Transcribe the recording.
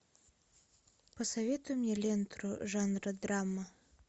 посоветуй мне ленту жанра драма